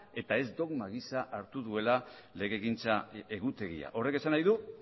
eta ez dogma gisa hartu duela legegintza egutegia horrek esan nahi du